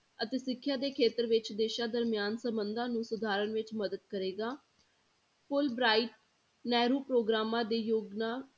ਅਤੇ ਸਿੱਖਿਆ ਦੇ ਖੇਤਰ ਵਿੱਚ ਦੇਸਾਂ ਦਰਮਿਆਨ ਸੰਬੰਧਾਂ ਨੂੰ ਸੁਧਾਰਨ ਵਿੱਚ ਮਦਦ ਕਰੇਗਾ fulbright ਨਹਿਰੂ ਪ੍ਰੋਗਰਾਮਾਂ ਦੀ ਯੋਜਨਾ